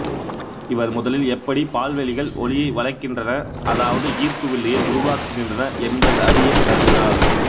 இவர் முதலில் எப்படி பால்வெளிகள் ஒளியை வளைக்கின்றன அதாவது ஈர்ப்பு வில்லையை உருவாக்குகின்றன என்பதை றியக் கருதினார்